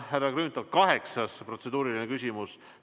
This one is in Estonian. Härra Grünthal, kaheksas protseduuriline küsimus.